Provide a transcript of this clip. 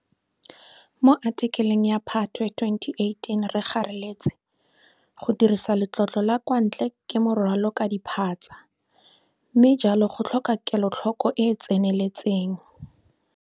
Mo athikeleng ya Phatwe 2018 re gareletse, go dirisa letlotlo la kwa ntle ke morwalo ka diphatsa, mme jalo go tlhoka kelotlhoko e e tseneletseng.